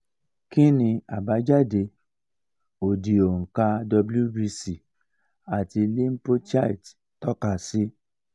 kini abadajade odi onka wbc ati lymphocyte to ka si